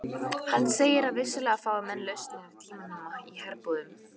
Hann segir að vissulega fái menn lausari tauminn í herbúðum.